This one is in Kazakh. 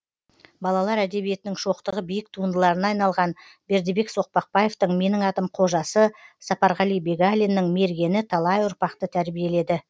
балалар әдебиетінің шоқтығы биік туындыларына айналған бердібек соқпақбаевтың менің атым қожасы сапарғали бегалиннің мергені талай ұрпақты тәрбиеледі